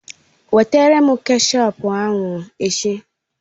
Wetara m kechọp ahụ echi!